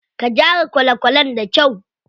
Ka gyara kwale kwalen da kyau.